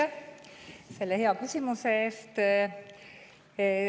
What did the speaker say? Aitäh selle hea küsimuse eest!